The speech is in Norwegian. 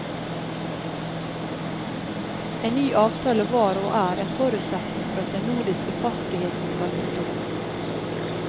En ny avtale var og er en forutsetning for at den nordiske passfriheten skal bestå.